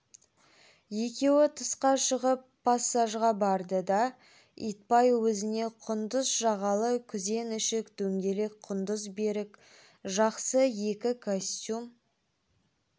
екеуі тысқа шығып пассажға барды да итбай өзіне құндыз жағалы күзен ішік дөңгелек құндыз бөрік жақсы екі костюм